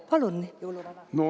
Palun, jõuluvana!